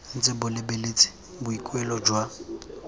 ntse bo lebeletse boikuelo jwa